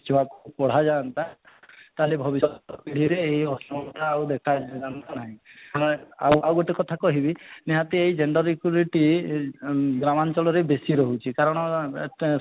ଛୁଆକୁ ପଢା ଯାଆନ୍ତା ତାହେଲେ ଭବିଷ୍ୟତ ପିଢ଼ିରେ ଏଇ ଅସମାନତା ଆଉ ଦେଖା ଯାଆନ୍ତା ନାହିଁ ଆପଣ ଆଉ ଆଉ ଗୋଟେ କଥା କହିବି ନିହାତି ଏଇ gender equility ଆଁ ଗ୍ରାମାଞ୍ଚଳରେ ବେଶୀ ରହୁଛି କାରଣ ଅଟେ